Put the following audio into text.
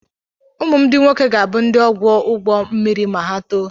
Ụmụ m ndị nwoke ga-abụ ndị ọkwọ ụgbọ mmiri ma ha tolite.